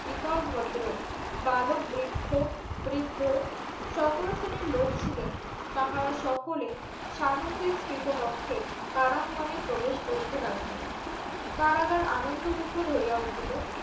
ইতর ভদ্র বালক বৃক্ষ বৃদ্ধ সকল শ্রেণির লোক ছিলেন তাহারা সকলে সানোন্দে সৃত বক্ষে কারাংগনে প্রবেশ করিতে লাগিলেন কারাগার আনন্দমুখর হইয়া উঠিলো